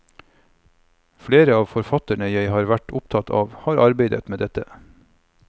Flere av de forfatterne jeg har vært opptatt av, har arbeidet med dette.